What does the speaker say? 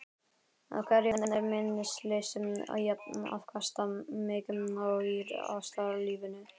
Hvergi er minnisleysið jafn afkastamikið og í ástarlífinu.